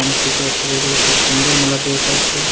অনেক কিছু আছে বলতে খুব সুন্দর মেলাটি এটা একটি।